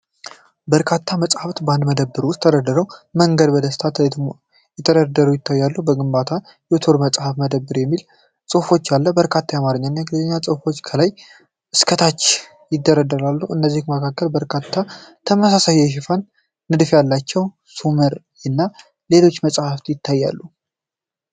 በርካታ መጻሕፍት በአንድ መደብር ውስጥ በተደራጀ መንገድ በደስታ ተደርድረው ይታያሉ። በግንባር "ዮቶር መጽሐፍ መደብር" የሚል ጽሑፍ አለ፤ በርካታ የአማርኛ እና የእንግሊዝኛ መጻሕፍት ከላይ እስከ ታች ይደረደራሉ። ከነዚህም መካከል በርካታ ተመሳሳይ የሽፋን ንድፍ ያላቸው "ሰሙር" እና ሌሎች መጻሕፍት ይታያሉ።